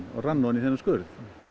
og rann ofan í þennan skurð